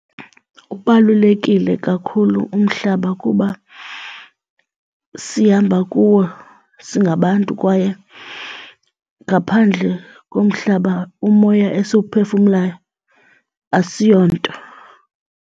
Ubalulekile kakhulu umhlaba kuba sihamba kuwo singabantu kwaye ngaphandle komhlaba umoya esiwuphefumlayo asiyonto.